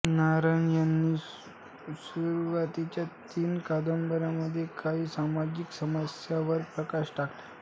नारायण यांनी सुरवातीच्या तीन कादंबरीमध्ये काही सामाजिक समस्यावर प्रकाश टाकला